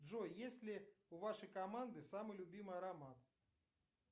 джой есть ли у вашей команды самый любимый аромат